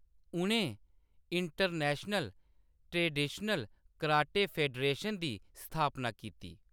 उʼनें international traditional karate federation दी स्थापना कीती।